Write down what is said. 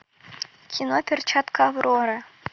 кино перчатка авроры